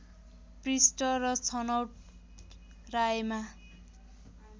पृष्ठ र छनौट रायमा